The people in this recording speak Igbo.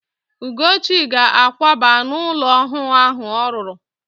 Ugochi ga-àkwába n'ụlọ ọhụụ ahụ ọ rụrụ.